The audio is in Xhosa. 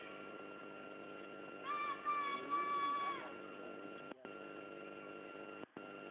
mholweni ayaphi amagqiyazane